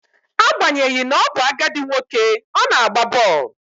Agbanyeghi na ọ bụ agadi nwoke, ọ na-agba bọọlụ